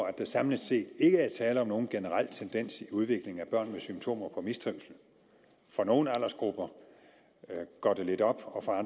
at der samlet set ikke er tale om nogen generel tendens i udviklingen af børnenes symptomer på mistrivsel for nogle aldersgrupper går det lidt op og for